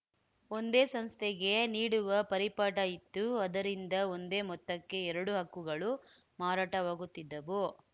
ಒಂದೇ ಸಂಸ್ಥೆಗೆ ನೀಡುವ ಪರಿಪಾಠ ಇತ್ತು ಅದರಿಂದ ಒಂದೇ ಮೊತ್ತಕ್ಕೆ ಎರಡೂ ಹಕ್ಕುಗಳು ಮಾರಾಟವಾಗುತ್ತಿದ್ದವು